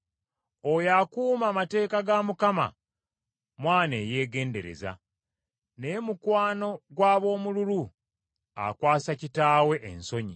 Oyo akuuma amateeka ga Mukama mwana eyeegendereza, naye mukwano gw’ab’omululu akwasa kitaawe ensonyi.